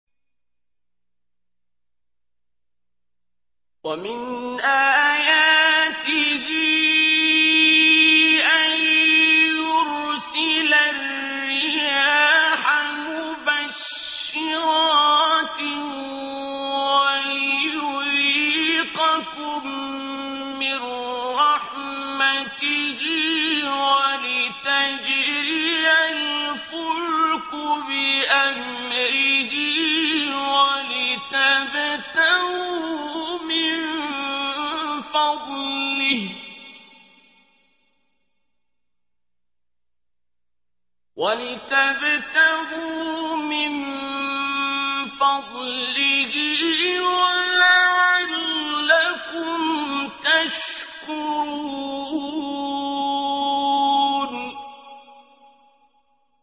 وَمِنْ آيَاتِهِ أَن يُرْسِلَ الرِّيَاحَ مُبَشِّرَاتٍ وَلِيُذِيقَكُم مِّن رَّحْمَتِهِ وَلِتَجْرِيَ الْفُلْكُ بِأَمْرِهِ وَلِتَبْتَغُوا مِن فَضْلِهِ وَلَعَلَّكُمْ تَشْكُرُونَ